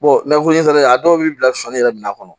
nafolo fɛnɛ a dɔw b'i bila sɔni yɛrɛ mina kɔnɔ